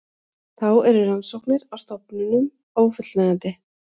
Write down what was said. Þá eru rannsóknir á stofninum ófullnægjandi